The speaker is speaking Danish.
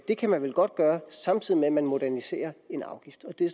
det kan man vel godt gøre samtidig med at man moderniserer en afgift det er